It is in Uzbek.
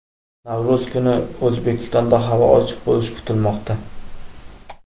Navro‘z kuni O‘zbekistonda havo ochiq bo‘lishi kutilmoqda.